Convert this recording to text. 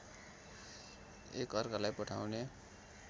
एक अर्कालाइ पठाउने